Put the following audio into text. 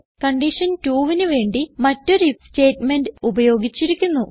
condition 2ന് വേണ്ടി മറ്റൊരു ഐഎഫ് സ്റ്റേറ്റ്മെന്റിൽ ഉപയോഗിച്ചിരിക്കുന്നു